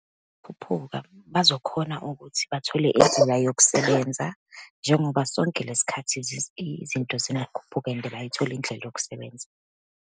Khuphuka bazokhona ukuthi bathole yokusebenza, njengoba sonke lesikhathi izinto zingakhuphuka and bayithole indlela yokusebenza.